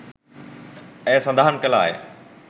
ඇය සදහන් කළාය.